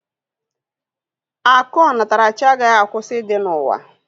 Akụ onatarachi agaghị akwụsị ịdị n'ụwa